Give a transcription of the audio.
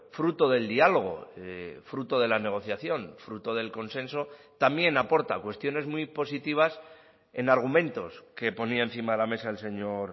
fruto del diálogo fruto de la negociación fruto del consenso también aporta cuestiones muy positivas en argumentos que ponía encima de la mesa el señor